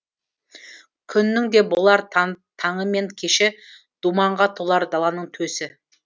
күннің де болар таңы мен кеші думанға толар даланың төсі